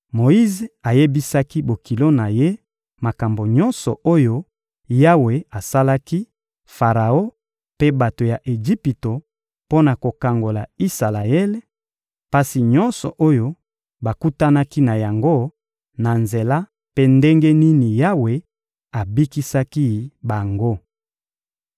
Moyize ayebisaki bokilo na ye makambo nyonso oyo Yawe asalaki Faraon mpe bato ya Ejipito mpo na kokangola Isalaele, pasi nyonso oyo bakutanaki na yango na nzela mpe ndenge nini Yawe abikisaki bango.